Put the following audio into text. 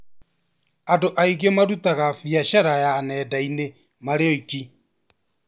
Andũ aingĩ marutaga biacara ya nenda-inĩ marĩ oiki